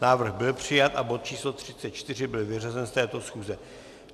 Návrh byl přijat a bod číslo 34 byl vyřazen z této schůze.